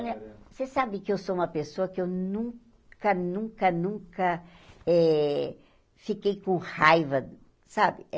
Olha, você sabe que eu sou uma pessoa que eu nunca, nunca, nunca eh fiquei com raiva, sabe?